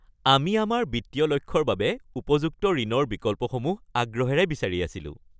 আমি আমাৰ বিত্তীয় লক্ষ্যৰ বাবে উপযুক্ত ঋণৰ বিকল্পসমূহ আগ্ৰহেৰে বিচাৰি আছিলোঁ।